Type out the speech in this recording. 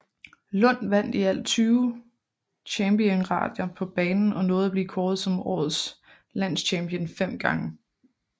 Lund vand i alt 20 championater på banen og nåede at blive kåret som årets landschampion fem gange